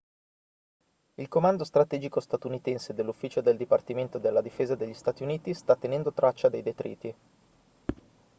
il comando strategico statunitense dell'ufficio del dipartimento della difesa degli stati uniti sta tenendo traccia dei detriti